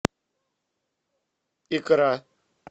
икра